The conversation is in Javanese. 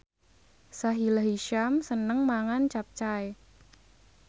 Sahila Hisyam seneng mangan capcay